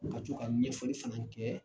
Ka tɔ ka ɲɛfɔli fɛnɛ kɛ